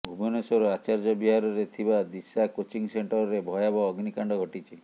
ଭୁବନେଶ୍ୱର ଆଚାର୍ଯ୍ୟ ବିହାରରେ ଥିବା ଦିଶା କୋଚିଂ ସେଣ୍ଟରରେ ଭୟାବହ ଅଗ୍ନିକାଣ୍ଡ ଘଟିଛି